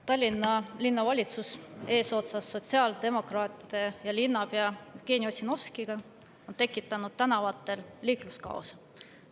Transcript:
Tallinna Linnavalitsus eesotsas sotsiaaldemokraatide ja linnapea Jevgeni Ossinovskiga on tekitanud tänavatel liikluskaose.